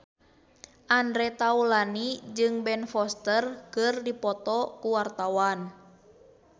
Andre Taulany jeung Ben Foster keur dipoto ku wartawan